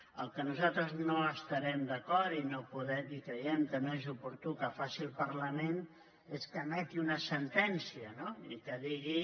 en el que nosaltres no estarem d’acord i creiem que no és oportú que faci el parlament és que emeti una sen·tència no i que digui